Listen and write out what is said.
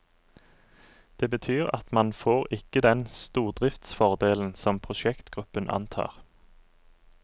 Det betyr at man får ikke den stordriftsfordelen som prosjektgruppen antar.